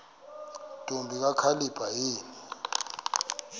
ntombi kakhalipha yini